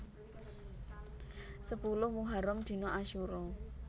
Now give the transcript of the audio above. Sepuluh Muharram Dina Asyura